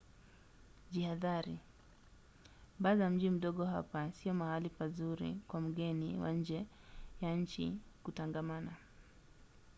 jihadhari: baa za mji mdogo hapa sio mahali pazuri kwa mgeni wa nje ya nchi kutangamana